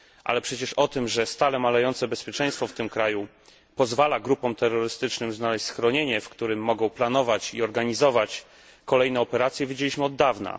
Ale przecież o tym, że stale malejące bezpieczeństwo w tym kraju pozwala grupom terrorystycznym znaleźć schronienie, w którym mogą planować i organizować kolejne operacje, wiedzieliśmy od dawna.